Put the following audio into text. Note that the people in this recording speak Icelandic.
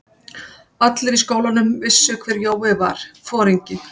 Allir í skólanum vissu hver Jói var, foringinn.